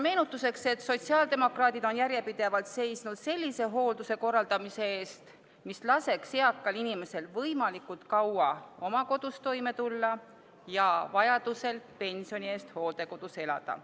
Meenutuseks ütlen, et sotsiaaldemokraadid on järjepidevalt seisnud sellise hoolduse korraldamise eest, mis laseks eakal inimesel võimalikult kaua oma kodus toime tulla ja vajaduse korral pensioni eest hooldekodus elada.